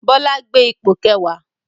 Bọlá gbé ipò kẹwàá